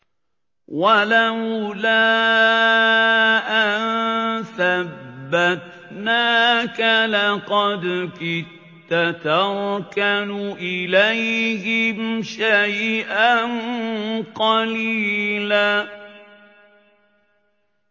وَلَوْلَا أَن ثَبَّتْنَاكَ لَقَدْ كِدتَّ تَرْكَنُ إِلَيْهِمْ شَيْئًا قَلِيلًا